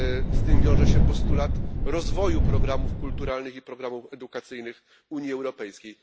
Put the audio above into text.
Z tym wiąże się postulat rozwoju programów kulturalnych i programów edukacyjnych Unii Europejskiej.